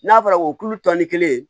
N'a fɔra ko kulo tɔn ni kelen ye